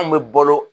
Anw bɛ balo